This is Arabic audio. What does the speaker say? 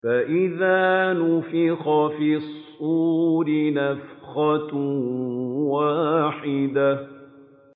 فَإِذَا نُفِخَ فِي الصُّورِ نَفْخَةٌ وَاحِدَةٌ